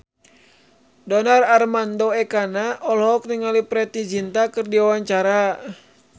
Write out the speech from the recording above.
Donar Armando Ekana olohok ningali Preity Zinta keur diwawancara